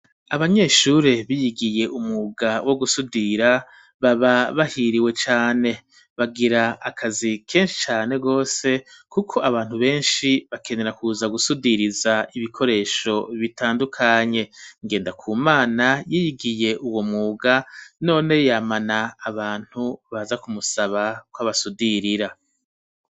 abanyeshure biyigiye umwuga wo gusudira baba bahiriwe cane bagira akazi kenshi cane gose kuko abantu benshi bakenera kuza gusudiriza ibikoresho bitandukanye, ngendakumana yiyigiye uwo mwuga none yamana abantu baza kumusaba kw'abasudirira